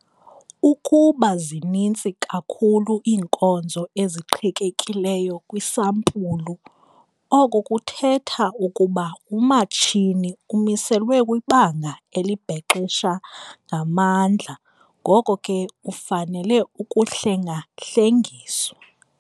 Ukuba zininzi kakhulu iinkonzo eziqhekekileyo kwisampulu oko kuthetha ukuba umatshini umiselwe kwibanga elibhexesha ngamandla ngoko ke ufanele ukuhlengahlengiswa.